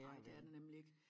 Nej det er det nemlig ik